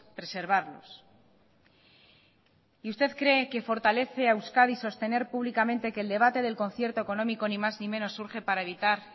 preservarlos y usted cree que fortalece a euskadi sostener públicamente que el debate del concierto económico ni más ni menos surge para evitar